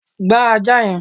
gba ajá yẹn!